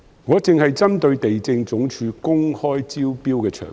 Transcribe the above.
我只針對地政總署公開招標的場地。